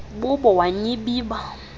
bubo wa nyibiba